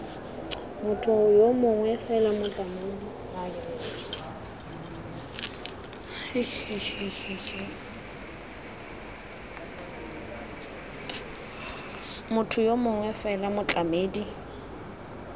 motho yo mongwe fela motlamedi